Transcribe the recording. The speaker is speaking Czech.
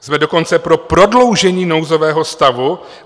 Jsme dokonce pro prodloužení nouzového stavu.